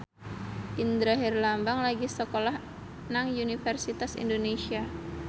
Indra Herlambang lagi sekolah nang Universitas Indonesia